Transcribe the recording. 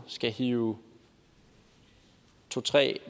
skal hive to tre